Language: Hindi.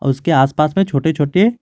उसके आस पास में छोटे छोटे--